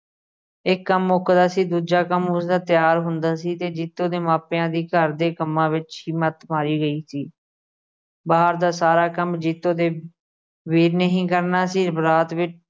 ਇੱਕ ਕੰਮ ਮੁੱਕਦਾ ਸੀ ਦੂਜਾ ਕੰਮ ਉਸਦਾ ਤਿਆਰ ਹੁੰਦਾ ਸੀ ਤੇ ਜੀਤੋ ਦੇ ਮਾਪਿਆਂ ਦੀ ਘਰ ਦੇ ਕੰਮਾਂ ਵਿੱਚ ਹੀ ਮੱਤ ਮਾਰੀ ਗਈ ਸੀ। ਬਾਹਰ ਦਾ ਸਾਰਾ ਕੰਮ ਜੀਤੋ ਦੇ ਵੀਰ ਨੇ ਹੀ ਕਰਨਾ ਸੀ ਬਰਾਤ ਵਿੱਚ